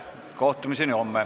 Istungi lõpp kell 10.03.